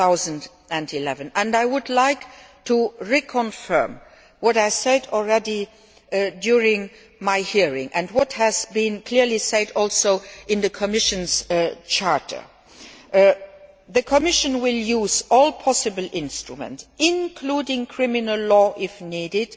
2011. I would like to reconfirm what I said during my hearing and what has been clearly said also in the Commission's Charter the Commission will use all possible instruments, including criminal law if needed,